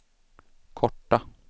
korta